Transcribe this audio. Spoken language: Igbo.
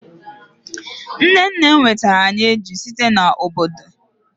nne nnem wetara anyi eju site n'obodo